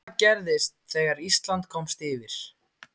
Hvað gerðist þegar Ísland komst yfir?